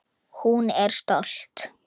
Hún er stolt.